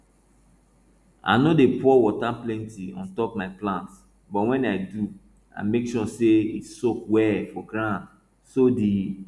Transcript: i no dey pour water plenty on top my plants but when i do i make sure say e soak well for ground so the